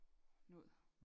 Noget